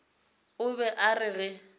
o be a re ge